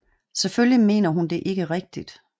Selvfølgelig mener hun det ikke rigtigt